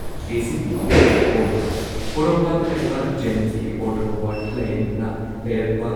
KCP ꯑꯣꯜ ꯄꯣꯔꯣꯝꯄꯥꯠꯇ ꯂꯩꯕ ꯖꯦꯅꯤꯝꯁꯀꯤ ꯑꯣꯔꯊꯣ ꯋꯥꯔꯗꯇ ꯂꯥꯌꯦꯡꯗꯨꯅ ꯂꯩꯔꯛꯄ